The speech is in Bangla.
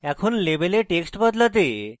এখন label a text বদলাতে